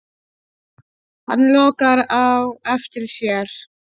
Hann lokar á eftir sér.